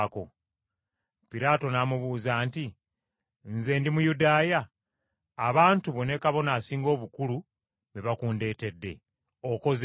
Piraato n’amubuuza nti, “Nze ndi Muyudaaya? Abantu bo ne Kabona Asinga Obukulu be bakundeetedde. Okoze ki?”